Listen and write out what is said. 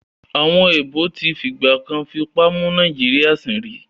Àwọn èèbó tí fìgbà kan fipá mú Nàìjíríyà sìn rí